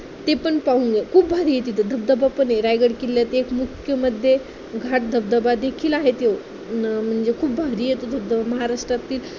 ते पण पाहून खूप भारी आहे तिथे धबधबा पण आहे रायगड किल्ला एक मुख्य घाट धबधबादेखील आहे तो अं म्हणजे खूप भारी आहे तो धबधबा. महाराष्ट्रातील